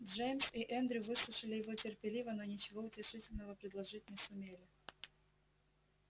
джеймс и эндрю выслушали его терпеливо но ничего утешительного предложить не сумели